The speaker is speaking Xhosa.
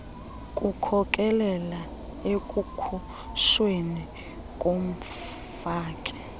kukhokelela ekukhutshweni komfaki